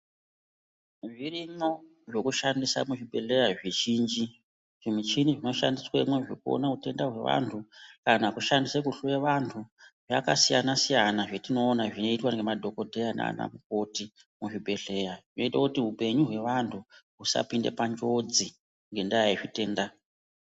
Zvirimwo zvekudhandisa muzvibhedhleya zvizhinji, zvimuchini zvinoshandiswamwozvo kuone hutenda hwevantu kana kushandiswa kuhloya vantu zvakasiyana siyana zvatinoona zvinoitwa ngemadhokodheya nanamukoti muzvibhedhleya hunoite kuti hupenyu hwevantu husapinde panjodzi ngendaa yezvitenda.